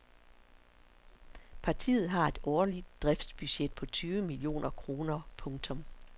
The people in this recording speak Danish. Partiet har et årligt driftsbudget på tyve millioner kroner. punktum